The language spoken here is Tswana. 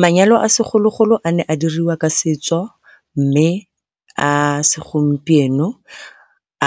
Manyalo a segologolo a ne a diriwa ka setso mme a segompieno